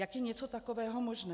Jak je něco takového možné?